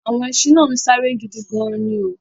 Àwọn ẹṣin náà ń sáré gidi gan-an ni o